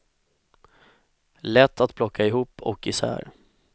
Lätt att plocka ihop och i sär.